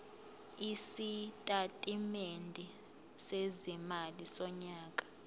isitatimende sezimali sonyaka